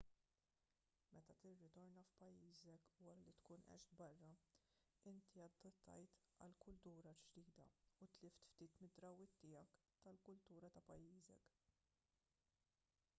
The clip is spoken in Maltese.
meta tirritorna f'pajjiżek wara li tkun għext barra inti adattajt għall-kultura l-ġdida u tlift ftit mid-drawwiet tiegħek tal-kultura ta' pajjiżek